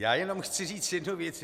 Já jenom chci říct jednu věc.